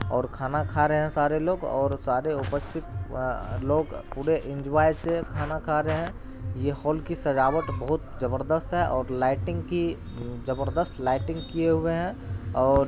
और खाना खा रहे हैं सारे लोग और सारे उपस्तिथ अ लोग पूरे एन्जॉय से खाना खा रहे हैं । ये हॉल की सजावट बहोत जबरदस्त है और लाइटींग की जबरदस्त लाइटींग किए हुए हैं और --